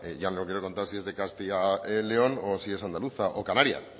ya no quiero contar si es de castilla león y o si es andaluza o canaria